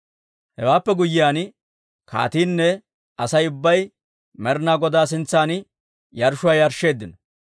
Hewaappe guyyiyaan, kaatiinne Asay ubbay Med'inaa Godaa sintsan yarshshuwaa yarshsheeddino.